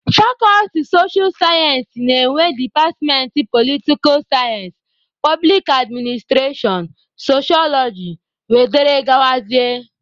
Fakọlti socha sayensị na-enwe departmentị politika sayensị, poblik adminstrashọn, soshọloji wdg.